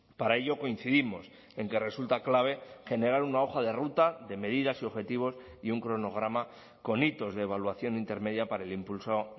para ello coincidimos en que resulta clave generar una hoja de ruta de medidas y objetivos y un cronograma con hitos de evaluación intermedia para el impulso